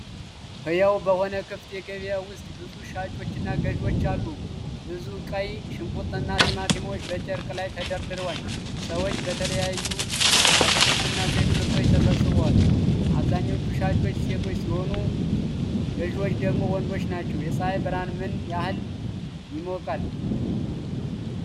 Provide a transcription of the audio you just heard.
ሕያው በሆነ ክፍት ገበያ ውስጥ ብዙ ሻጮችና ገዢዎች አሉ። ብዙ ቀይ ሽንኩርትና ቲማቲሞች በጨርቅ ላይ ተደርድረዋል። ሰዎች በተለያዩ የአትክልትና ዘይት ምርቶች ተሰብስበዋል። አብዛኛዎቹ ሻጮች ሴቶች ሲሆኑ፣ ገዢዎቹ ደግሞ ወንዶች ናቸው። የፀሐይ ብርሃን ምን ያህል ይሞቃል?